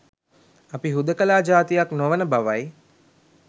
අපි හුදෙකලා ජාතියක් නොවන බවයි.